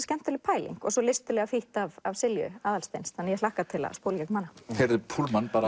skemmtileg pæling og listilega þýtt af af Silju Aðalsteins þannig að ég hlakka til að spóla í gegnum hana